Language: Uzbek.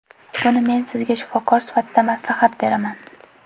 Buni men sizga shifokor sifatida maslahat beraman.